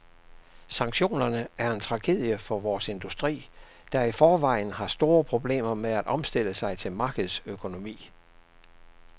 Sanktionerne er en tragedie for vores industri, der i forvejen har store problemer med at omstille sig til markedsøkonomi.